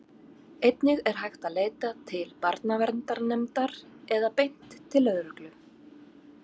einnig er hægt að leita til barnaverndarnefndar eða beint til lögreglu